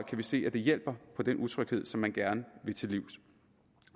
vi se at det hjælper på den utryghed som man gerne vil til livs